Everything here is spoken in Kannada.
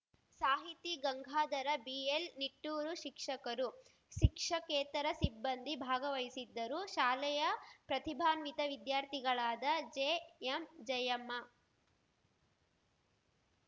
ಸಾಹಿತಿ ಗಂಗಾಧರ ಬಿಎಲ್‌ನಿಟ್ಟೂರು ಶಿಕ್ಷಕರು ಶಿಕ್ಷಕೇತರ ಸಿಬ್ಬಂದಿ ಭಾಗವಹಿಸಿದ್ದರು ಶಾಲೆಯ ಪ್ರತಿಭಾನ್ವಿತ ವಿದ್ಯಾರ್ಥಿಗಳಾದ ಜಿಎಂಜಯಮ್ಮ